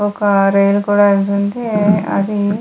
ఒక రైలు కూడా వెళ్తుంది అది --